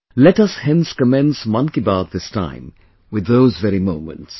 Let us hence commence Mann Ki Baat this time, with those very moments